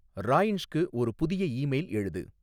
ராயன்ஷ்க்கு ஒரு புதிய ஈமெயில் எழுது